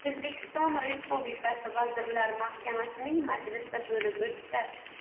O‘zbekiston Respublikasi Vazirlar Mahkamasining majlisi bo‘lib o‘tdi.